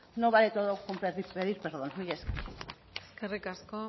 no vale todo con pedir perdón mila esker eskerrik asko